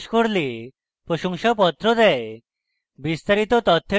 online পরীক্ষা pass করলে প্রশংসাপত্র দেয়